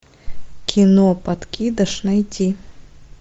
кино подкидыш найти